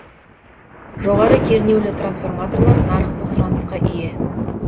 жоғары кернеулі трансформаторлар нарықта сұранысқа ие